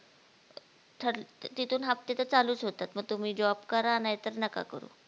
ठर तिथून हाफ्ते तर चालूच होतात मग तुम्ही job करा नाहीतर नका करू